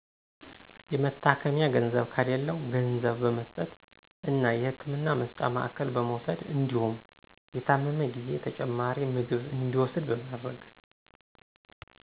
የመታከሚያ ገንዘብ ከሌላው ገንዘብ በመስጠት እና የህክምና መስጫ ማዕከል በመውሰድ እንዲሁም የታመመ ጊዜ ተጨማሪ ምግብ እንዲውስድ በማድረግ